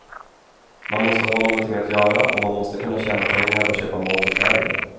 Man måste ha nånting att göra och man måste kunna tjäna pengar och köpa mat och kläder.